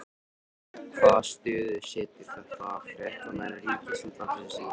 Hvaða stöðu setur þetta fréttamenn Ríkisútvarpsins í?